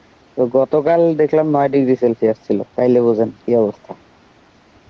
তো গতকাল দেখলাম বারো degree celsius ছিল. তাইলে বোঝেন কী অবস্থা.